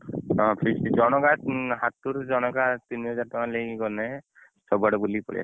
ହଁ feast feast ଜଣକା ହାତରୁ ଜଣକା ତିନି ହଜାର ଟକଣା ନେଇକି ଗଲେ ସବୁ ଆଡେ ବୁଲିକି ପଳେଇଆସିଆ